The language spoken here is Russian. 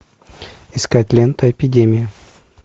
искать лента эпидемия